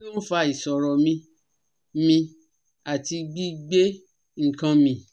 Kí ló ń fa ìṣòro mí mí àti gbi gbe nkan mi?